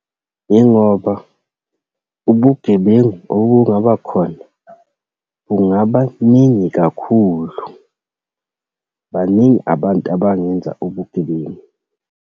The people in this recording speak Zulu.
Yingoba ubugebengu obungabakhona bungaba ningi kakhulu. Baningi abantu abangenza ubugebengu.